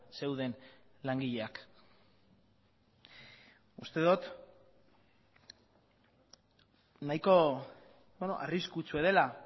zeuden langileak uste dut nahiko arriskutsua dela